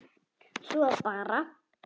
Svo bara.